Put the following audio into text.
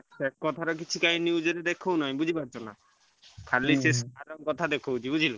ସେ କଥା କାଇଁ news ରେ ଦେଖାଉନି ବୁଝିପାରୁଛ ଖାଲି ସେ sir ଙ୍କ କଥା ଦେଖଉଛି।